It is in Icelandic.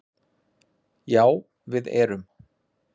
Já við erum